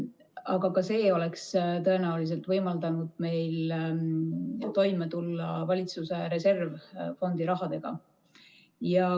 Aga ka see oleks tõenäoliselt võimaldanud meil toime tulla valitsuse reservfondi rahaga.